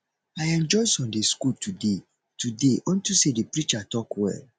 i enjoy sunday school today today unto say the preacher talk well